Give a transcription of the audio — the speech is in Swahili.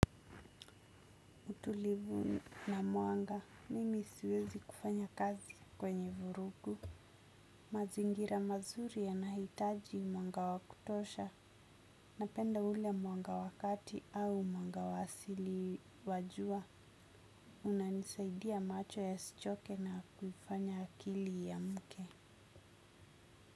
Utulivu na mwanga, nimi siwezi kufanya kazi kwenye vurugu. Mazingira mazuri yanahitaji mwanga wa kutosha. Napenda ule mwanga wa kati au mwanga wa asili wa jua. Unanisaidia macho yasichoke na kufanya akili iamke.